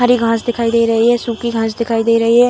हरी घास दिखाई दे रही है सुखी घास दिखाई दे रही है।